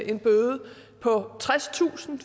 en bøde på tredstusind